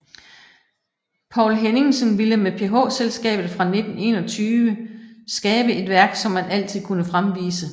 Poul Henningsen ville med PH Skabet fra 1921 skabe et værk som man altid kunne fremvise